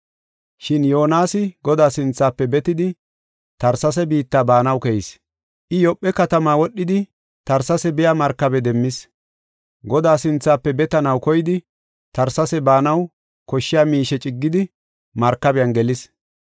Shin Yoonasi Godaa sinthafe betidi Tarsesa biitta baanaw keyis. I, Yoophe katama wodhidi Tarsesa biya markabe demmis. Godaa sinthafe betanaw koyidi Tarsesa baanaw koshshiya miishe ciggidi markabiyan gelis.